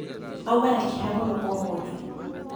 Auma na kĩeha mũno ũmũthĩ